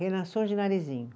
Reinações de Narizinho.